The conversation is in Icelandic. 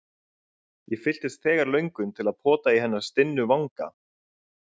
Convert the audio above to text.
Ég fylltist þegar löngun til að pota í hennar stinnu vanga.